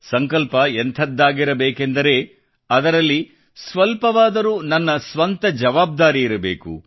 ಸಂಕಲ್ಪ ಎಂಥದ್ದಾಗಿರಬೇಕೆಂದರೆ ಅದರಲ್ಲಿ ಸ್ವಲ್ಪವಾದರೂ ನಮ್ಮ ಸ್ವಂತ ಜವಾಬ್ದಾರಿಯಿರಬೇಕು